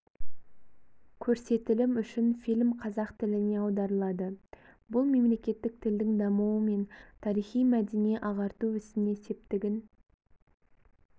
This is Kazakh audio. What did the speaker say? көрсетілім үшін фильм қазақ тіліне аударылады бұл мемлекеттік тілдің дамуы мен тарихи-мәдени ағарту ісіне септігін